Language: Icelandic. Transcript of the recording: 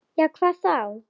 Já, hvað þá?